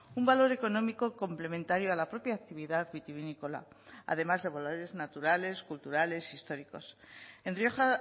un valor económico complementario a la propia actividad vitivinícola además de valores naturales culturales históricos en rioja